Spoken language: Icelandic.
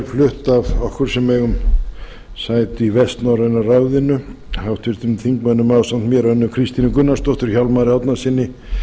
flutt af okkur sem eigum sæti í vestnorræna ráðinu ásamt mér háttvirtum þingmönnum önnu kristínu gunnarsdóttur hjálmari árnasyni